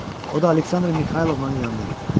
O da Aleksandr Mixaylovnanın yanına gəlirdi.